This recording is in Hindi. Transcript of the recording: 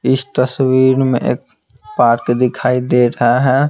इस तस्वीर में एक पार्क दिखाई दे रहा है।